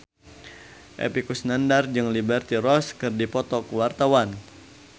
Epy Kusnandar jeung Liberty Ross keur dipoto ku wartawan